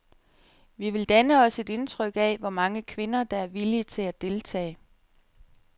Vi vil danne os et indtryk af, hvor mange kvinder, der er villige til at deltage.